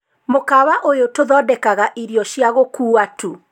mukawa uyu tuthondeka irio cia gukuuwa tu